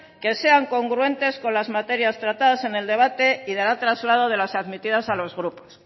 que sean congruentes con las materias tratadas en el debate y dará traslado de las admitidas a los grupos